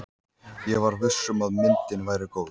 Ég var viss um að myndin væri góð.